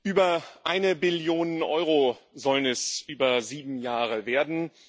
Über eine Billion Euro sollen es über sieben Jahre werden.